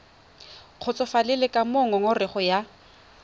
kgotsofalele ka moo ngongorego ya